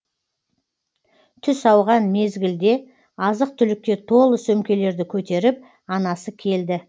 түс ауған мезгілде азық түлікке толы сөмкелерді көтеріп анасы келді